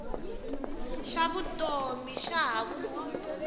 xa vutomi xa ha ku